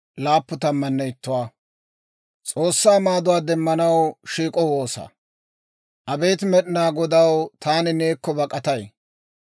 Abeet Med'inaa Godaw, taani neekko bak'atay; awudenne taana yeellayoppa.